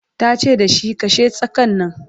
tace da shi "kashe tsakan Nan!"